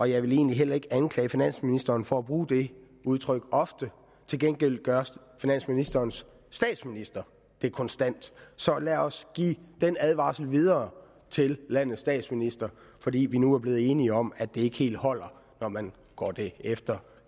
jeg vil egentlig heller ikke anklage finansministeren for at bruge det udtryk ofte til gengæld gør finansministerens statsminister det konstant så lad os give den advarsel videre til landets statsminister fordi vi nu er blevet enige om at det ikke helt holder når man går det efter